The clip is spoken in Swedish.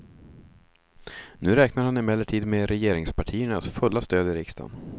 Nu räknar han emellertid med regeringspartiernas fulla stöd i riksdagen.